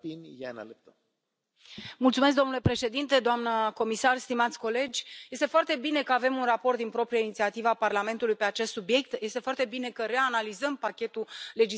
Domnule președinte, doamnă comisar, stimați colegi, este foarte bine că avem un raport din proprie inițiativă a Parlamentului pe acest subiect, este foarte bine că reanalizăm pachetul legislativ privind achizițiile publice.